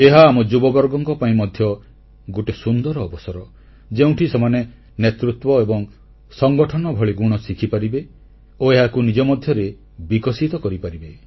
ଏହା ଆମ ଯୁବବର୍ଗଙ୍କ ପାଇଁ ମଧ୍ୟ ଗୋଟିଏ ସୁନ୍ଦର ଅବସର ଯେଉଁଠି ସେମାନେ ନେତୃତ୍ୱ ଏବଂ ସଙ୍ଗଠନ ଭଳି ଗୁଣ ଶିଖିପାରିବେ ଓ ଏହାକୁ ନିଜ ମଧ୍ୟରେ ବିକଶିତ କରିପାରିବେ